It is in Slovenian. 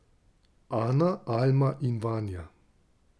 Ana, Alma in Vanja.